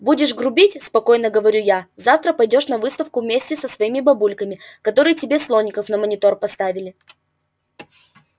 будешь грубить спокойно говорю я завтра пойдёшь на выставку вместе со своими бабульками которые тебе слоников на монитор поставили